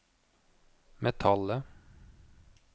metallet